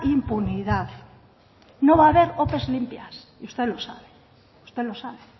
impunidad no va a ver ope limpias y usted lo sabe usted lo sabe